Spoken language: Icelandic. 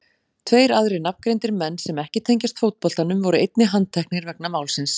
Tveir aðrir nafngreindir menn sem ekki tengjast fótboltanum voru einnig handteknir vegna málsins.